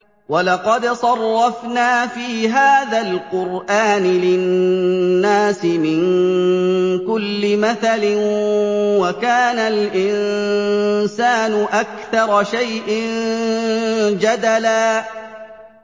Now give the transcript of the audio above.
وَلَقَدْ صَرَّفْنَا فِي هَٰذَا الْقُرْآنِ لِلنَّاسِ مِن كُلِّ مَثَلٍ ۚ وَكَانَ الْإِنسَانُ أَكْثَرَ شَيْءٍ جَدَلًا